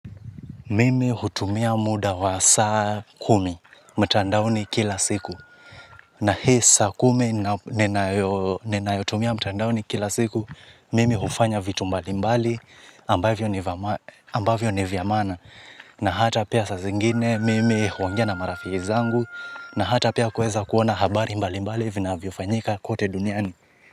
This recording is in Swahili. Mimi hutumia muda wa saa kumi, mtandaoni kila siku. Na hii saa kumi ninayotumia mtandaoni kila siku, mimi hufanya vitu mbali mbali ambavyo ni vya maana. Na hata pia saa zingine mimi huongea na marafiki zangu, na hata pia kuweza kuona habari mbali mbali vinavyofanyika kote duniani.